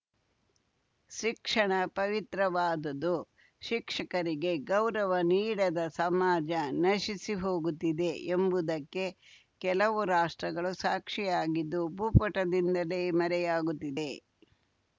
ಶಿಕ್ಷಣ ಪವಿತ್ರವಾದದು ಶಿಕ್ಷಕರಿಗೆ ಗೌರವ ನೀಡದ ಸಮಾಜ ನಶಿಸಿ ಹೋಗುತ್ತಿದೆ ಎಂಬುದಕ್ಕೆ ಕೆಲವು ರಾಷ್ಟ್ರಗಳು ಸಾಕ್ಷಿಯಾಗಿದ್ದು ಭೂಪಟದಿಂದಲೇ ಮರೆಯಾಗುತ್ತಿದೆ